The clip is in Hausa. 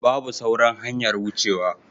Babu sauran hanyar wucewa.